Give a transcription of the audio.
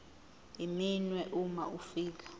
iminwe uma ufika